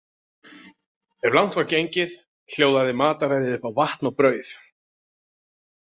Ef langt var gengið hljóðaði mataræðið upp á vatn og brauð.